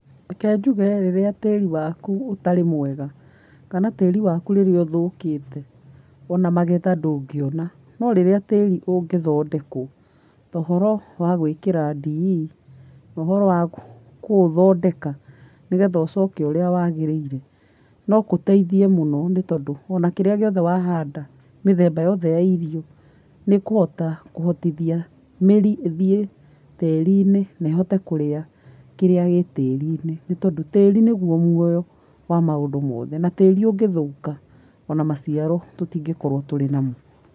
Reke njuge rĩrĩa tĩri waku ũtarĩ mwega, kana tĩri waku rĩrĩa ũthũkĩte ona magetha ndũngĩona no rĩrĩa tĩri ũngĩthondekwo ũhoro wa gũĩkĩra DE na ũhoro wa kũũthondeka nĩgetha ũcoke ũrĩa wagĩrĩire nogũteithie mũno nĩtondũ ona kĩrĩa gĩothe wahanda mĩthemba yothe ya irio nĩkũhota kũhotithia mĩri ĩthiĩ tĩrinĩ nehote kũrĩa kĩrĩa gĩtĩrinĩ nĩtondũ tĩrĩ nĩguo muoyo wa maũndũ mothe na tĩri ũngĩthũka ona maciaro tũtingĩkorwa tũrĩ namo .